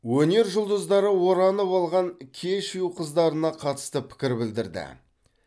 өнер жұлдыздары оранып алған кешью қыздарына қатысты пікір білдірді